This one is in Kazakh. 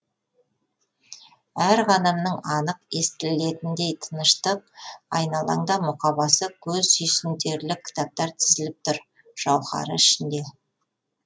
әр қадамың анық естілетіндей тыныштық айналаңда мұқабасы көз сүйсінтерлік кітаптар тізіліп тұр жауһары ішінде